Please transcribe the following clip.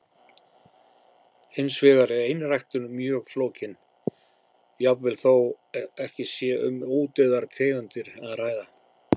Hins vegar er einræktun mjög flókin, jafnvel þó ekki sé um útdauðar tegundir að ræða.